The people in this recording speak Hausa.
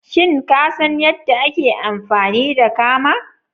Shin ka san yadda ake amfani da kama?